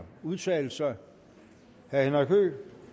udtale sig herre henrik høegh